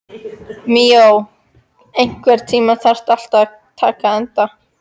Míó, einhvern tímann þarf allt að taka enda.